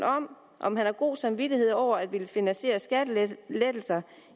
om han har god samvittighed over at ville finansiere skattelettelser